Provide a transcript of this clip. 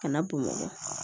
Kana bamakɔ